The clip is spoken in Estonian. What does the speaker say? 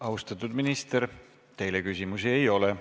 Austatud minister, teile küsimusi ei ole.